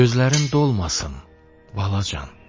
Gözlərin dolmasın, balacan.